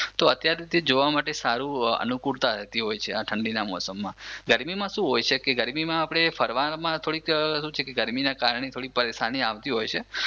તો અત્યારે તે જોવા માટે સારું અનુકૂળતા રેતી હોય છે. આ ઠંડીના મોસમમાં. ગરમીમાં શું હોય છે કે ગરમીમાં આપડે ફરવામાં થોડીક શું કે છે ગરમી ના કારણે પરેશાની આવતી હોય છે